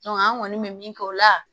an kɔni bɛ min kɛ o la